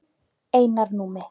Einar Númi.